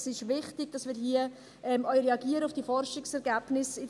Es ist wichtig, dass wir hier auch auf die Forschungsergebnisse reagieren.